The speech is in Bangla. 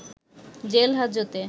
জেল হাজতে